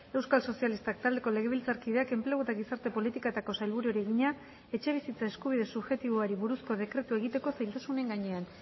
euskal sozialistak taldeko legebiltzarkideak enplegu eta gizarte politiketako sailburuari egina etxebizitza eskubide subjektiboari buruzko dekretua egiteko zailtasunen gainean